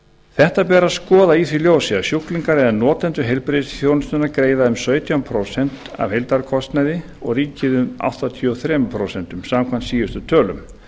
þetta ber að skoða í því ljósi að sjúklingar eða notendur heilbrigðisþjónustunnar greiða um sautján prósent af heildarkostnaði og ríkið áttatíu og þrjú prósent samkvæmt síðustu tölum